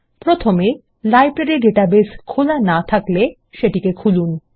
প্রথমে library database খোলা না থাকলে সেটিকে খুলুন